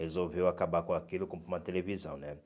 Resolveu acabar com aquilo comprou uma televisão, né?